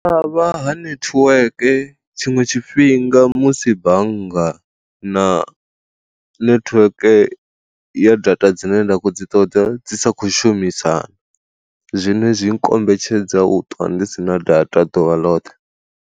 Vha ha netiweke tshiṅwe tshifhinga musi bannga na nethiweke ya data dzine nda kho dzi ṱoḓa dzi sa khou shumisana, zwine zwi nkombetshedza u ṱwa ndi sina data ḓuvha ḽoṱhe.